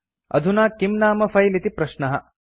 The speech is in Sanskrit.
अधुना किं नाम फिले इति प्रश्नः